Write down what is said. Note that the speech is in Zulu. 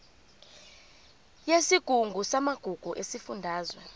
yesigungu samagugu sesifundazwe